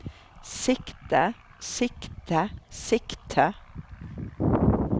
sikte sikte sikte